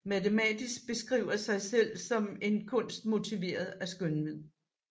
Matematik beskriver sig selv som en kunst motiveret af skønhed